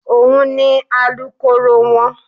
Òun ni Alukoro wọn.